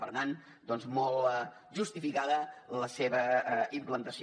per tant doncs molt justificada la seva implantació